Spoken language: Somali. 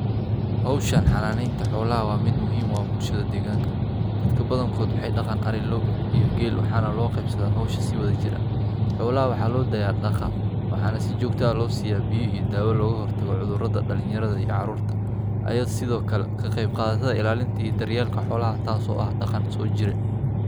Hawsha xanaanaynta xoolaha waa mid muhiim u ah bulshada deegaanka. Dadka badankood waxay dhaqaan ari, lo’, iyo geel, waxaana loo qaybsadaa hawsha si wadajir ah. Xoolaha waxaa loo daayaa daaqa, waxaana si joogto ah loo siiyaa biyo iyo daawo looga hortago cudurrada. Dhalinyarada iyo caruurta ayaa sidoo kale ka qayb qaata ilaalinta iyo daryeelka xoolaha, taas oo ah dhaqan soo jiree.